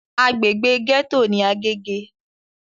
Agbègbè gẹ́tò ní Agége.